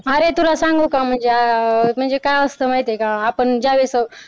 अरे तुला सांगू का म्हणजे आह म्हणजे काय असतं माहित आहे का ज्यावेळेस आपण